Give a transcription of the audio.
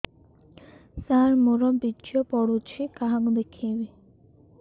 ସାର ମୋର ବୀର୍ଯ୍ୟ ପଢ଼ୁଛି କାହାକୁ ଦେଖେଇବି